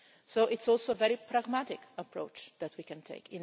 So this is also a very pragmatic approach that we can take.